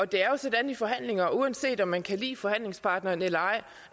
det er jo sådan i forhandlinger at uanset om man kan lide forhandlingspartneren eller ej